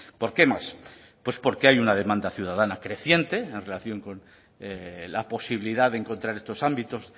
porque más pues porque hay una demanda ciudadana creciente en relación con la posibilidad de encontrar estos ámbitos